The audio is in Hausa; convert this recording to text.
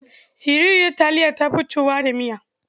Siriryar aliya ta fi ciwuwa da miya.